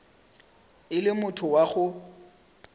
e le motho wa go